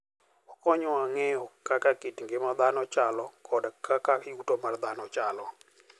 Okonyowa ng'eyo kaka kit ngima dhano chalo kod kaka yuto mar dhano chalo.